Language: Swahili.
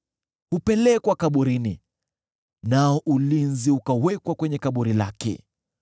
Hupelekwa kaburini, nao ulinzi ukawekwa kwenye kaburi lake.